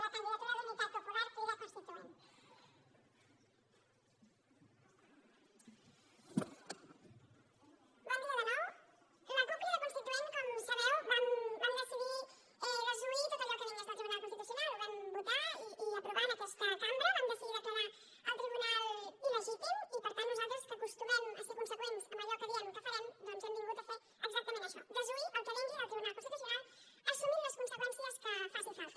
la cup crida constituent com sabeu vam decidir desoir tot allò que vingués del tribunal constitucional ho vam votar i aprovar en aquesta cambra vam decidir declarar el tribunal il·legítim i per tant nosaltres que acostumem a ser conseqüents amb allò que diem que farem doncs hem vingut a fer exactament això desoir el que vingui del tribunal constitucional assumint les conseqüències que facin falta